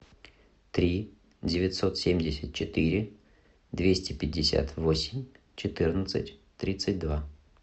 три девятьсот семьдесят четыре двести пятьдесят восемь четырнадцать тридцать два